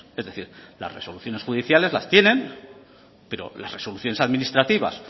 es decir las resoluciones judiciales las tienen pero las resoluciones administrativas